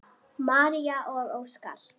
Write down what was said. María og Óskar.